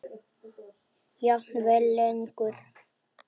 Jafnvel lengur.